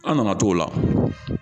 An nana t'o la